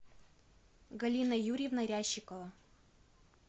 галина юрьевна рящикова